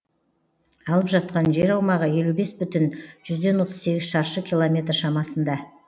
алып жатқан жер аумағы елу бес бүтін жүзден отыз сегіз шаршы километр шамасында